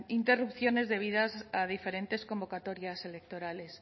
interrupciones debidas a diferentes convocatorias electorales